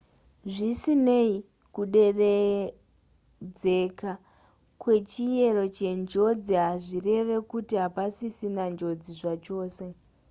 zvisinei kuderedzeka kwechiyero chenjodzi hazvireve kuti hapasisina njodzi zvachose